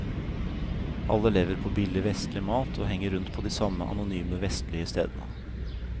Alle lever på billig vestlig mat og henger rundt på de samme anonyme vestlige stedene.